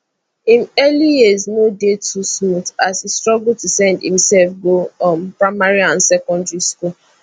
im early years no dey too smooth as e struggle to send imsef go um primary and secondary school